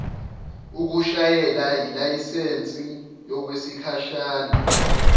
ukushayela yilayisensi yokwesikhashana